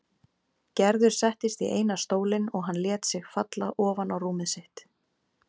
Gerður settist í eina stólinn og hann lét sig falla ofan á rúmið sitt.